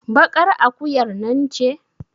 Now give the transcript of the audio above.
baƙar akuyar nan ce